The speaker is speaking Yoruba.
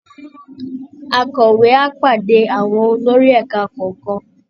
Akọ̀wé á pàdé àwọn olórí ẹ̀ka kọ̀ọ̀kan